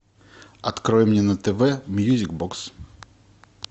открой мне на тв мьюзик бокс